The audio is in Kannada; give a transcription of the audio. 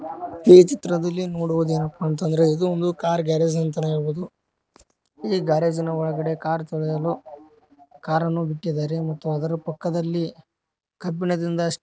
ಈ ಚಿತ್ರದಲ್ಲಿ ನೋಡುವುದೇನಪ್ಪಾ ಅಂತ ಅಂದ್ರೆ ಇದೊಂದು ಕಾರ್ ಗ್ಯಾರೇಜ್ ಅಂತಾನೆ ಹೇಳಬಹುದು ಈ ಗ್ಯಾರೇಜಿನ ಒಳಗಡೆ ಕಾರ್ ತೊಳೆಯಲು ಕಾರನ್ನು ಬಿಟ್ಟಿದ್ದಾರೆ ಮತ್ತು ಅದರ ಪಕ್ಕದಲ್ಲಿ ಕಬ್ಬಿಣದಿಂದ --